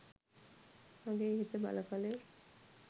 මගේ හිත බලකළේ